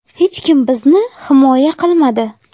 Hech kim bizni himoya qilmadi.